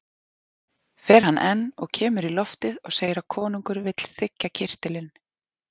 Fer hann enn og kemur í loftið og segir að konungur vill þiggja kyrtilinn.